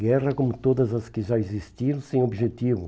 Guerra como todas as que já existiram sem objetivo.